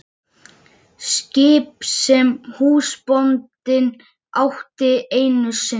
Skip sem húsbóndinn átti einu sinni.